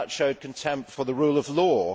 That showed contempt for the rule of law.